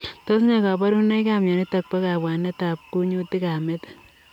Tos ne kabarunoik ap mionitok poo kabwanet ap kunyutik ap metit?